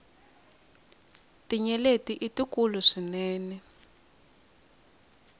tinyeleti i tikulu swinene